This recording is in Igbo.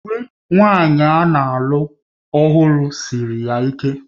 Uwe nwanyị a na-alụ ọhụrụ siri ya ike